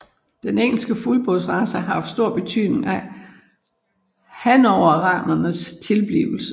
Den engelske fuldblodsrace har haft stor betydning for hannoveranerens tilblivelse